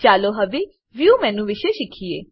ચાલો હવે view view menu વિશે શીખીએ